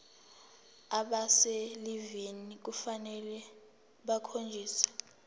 abaselivini kufanele bakhonjiswe